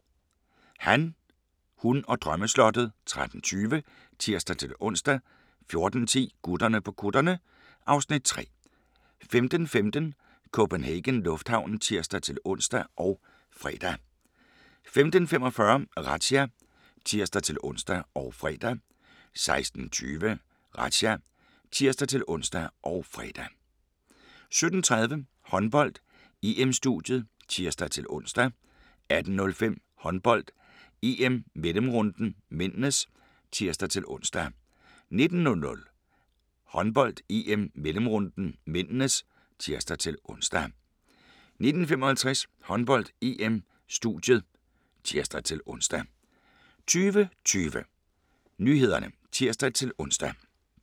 13:20: Han, hun og drømmeslottet (tir-ons) 14:10: Gutterne på kutterne (Afs. 3) 15:15: CPH Lufthavnen (tir-ons og fre) 15:45: Razzia (tir-ons og fre) 16:20: Razzia (tir-ons og fre) 17:30: Håndbold: EM-studiet (tir-ons) 18:05: Håndbold: EM - mellemrunden (m) (tir-ons) 19:00: Håndbold: EM - mellemrunden (m) (tir-ons) 19:55: Håndbold: EM - studiet (tir-ons) 20:20: Nyhederne (tir-ons)